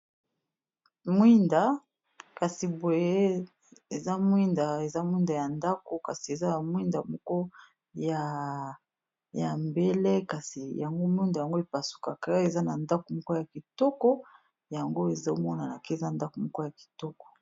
Mwinda kasi boye eza mwinda eza mwinda ya ndako kasi eza na mwinda moko ya mbele kasi yango mwinda yango epasukace eza na ndako moko ya kitoko yango ezomonana ke eza ndako moko ya kitoko.